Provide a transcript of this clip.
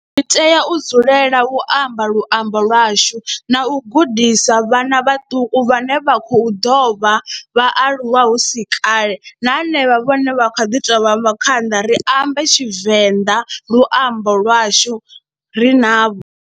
Ri tea u dzulela u amba luambo lwashu na u gudisa vhana vhaṱuku vhane vha khou ḓo vha vhaaluwa hu si kale na henevha vhane vha kha ḓi tou vha ri ambe Tshivenḓa luambo lwashu ri navho.